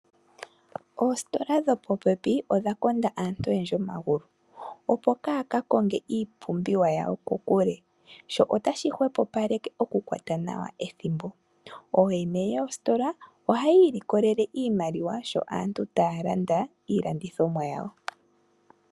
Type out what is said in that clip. Ositola dho popepi odha konda aantu oyendji omagulu opo ka kakonge iipumbiwa yawo kokule. Sho otashi hopopaleke oku kwata nawa ethimbo. Oyene yositola ohaya ilikolele nawa iimaliwa sho aantu talanda ilandithomo yawo.